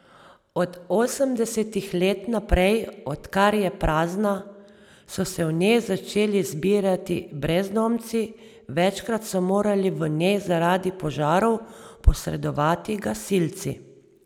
Od osemdesetih let naprej, odkar je prazna, so se v njej začeli zbirati brezdomci, večkrat so morali v njej zaradi požarov posredovati gasilci.